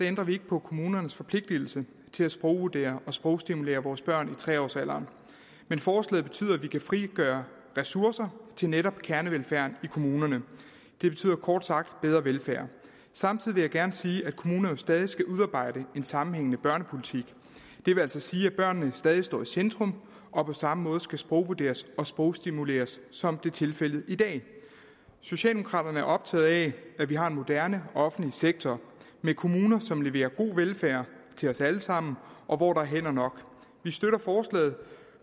ændrer vi ikke på kommunernes forpligtelse til at sprogvurdere og sprogstimulere vores børn i tre års alderen men forslaget betyder at vi kan frigøre ressourcer til netop kernevelfærden i kommunerne det betyder kort sagt bedre velfærd samtidig vil jeg gerne sige at kommunerne stadig skal udarbejde en sammenhængende børnepolitik det vil altså sige at børnene stadig står i centrum og på samme måde skal sprogvurderes og sprogstimuleres som er tilfældet i dag socialdemokraterne er optaget af at vi har en moderne offentlig sektor med kommuner som leverer god velfærd til os alle sammen og hvor der er hænder nok vi støtter forslaget